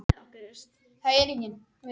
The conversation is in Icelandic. Grindvíkingum var spáð falli og úr varð.